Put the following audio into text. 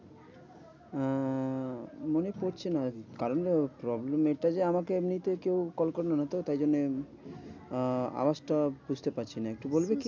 আহ মনে পড়ছে না। কারণ problem এটা যে আমাকে এমনিতে কেউ কল করলো না তো। তাই জন্য আহ আওয়াজটা বুঝতে পারছি না। একটু বলবি?